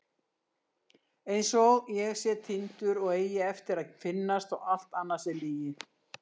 Einsog ég sé týndur og eigi eftir að finnast og allt annað sé lygi.